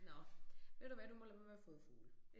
Nåh ved du hvad du må lade være med at fodre fugle